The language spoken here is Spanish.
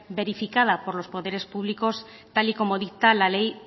verificada por los poderes públicos tal y como dicta la ley